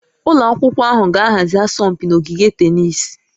Ụlọ akwụkwọ ahụ ga-ahazi asọmpi na ogige tennis